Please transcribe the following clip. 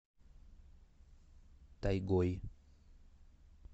тайгой